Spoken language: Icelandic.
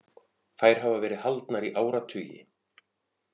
Þær hafa verið haldnar í áratugi.